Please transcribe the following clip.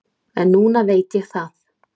En núna veit ég það.